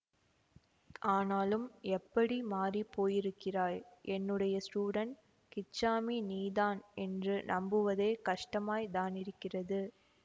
ஆனாலும் எப்படி மாறி போயிருக்கிறாய் என்னுடைய ஸ்டூடண்ட் கிச்சாமி நீதான் என்று நம்புவதே கஷ்டமாய்த் தானிருக்கிறது